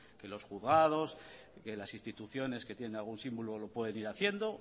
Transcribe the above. que los juzgados que las instituciones que tienen algún símbolo lo pueden ir haciendo